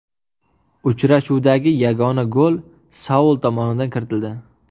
Uchrashuvdagi yagona gol Saul tomonidan kiritildi.